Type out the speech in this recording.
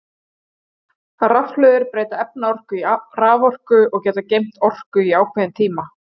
rafhlöður breyta efnaorku í raforku og geta geymt orku í ákveðin tíma